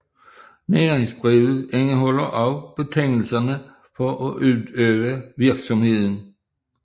Næringsbrevet indeholder også betingelserne for at udøve virksomheden